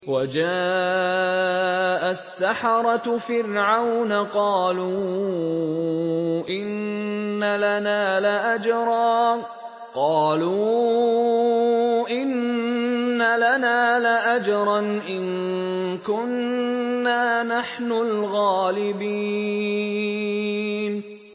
وَجَاءَ السَّحَرَةُ فِرْعَوْنَ قَالُوا إِنَّ لَنَا لَأَجْرًا إِن كُنَّا نَحْنُ الْغَالِبِينَ